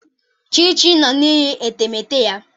Chichi nnọ na-eyi etemeete ya.